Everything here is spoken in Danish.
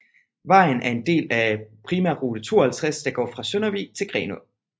Vejen er en del af primærrute 52 der går fra Søndervig til Grenaa